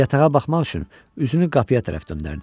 Yatağa baxmaq üçün üzünü qapıya tərəf döndərdi.